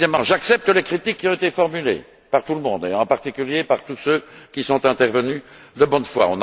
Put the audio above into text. J'accepte les critiques qui ont été formulées, par tout le monde d'ailleurs, et en particulier par tous ceux qui sont intervenus de bonne foi.